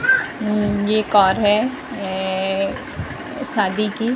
उम्म ये कार है ए ए उम्म शादी की अ --